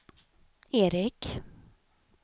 Eric